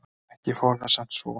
Ekki fór það samt svo.